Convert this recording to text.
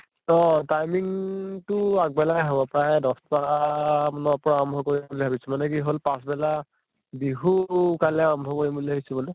অহ timing তো আগ বেলাই হʼব প্ৰায় দশ্টা মানৰ পৰা আৰম্ভ কৰিম ভাবিছো মানে কি হʼল পাছ্বেলা বিহু কাইলে আৰম্ভ কৰিম বুলি ভাবিছো বুলে